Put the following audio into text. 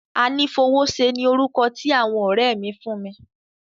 Anífowóṣe ni orúkọ tí àwọn ọ̀rẹ́ mi fún mi.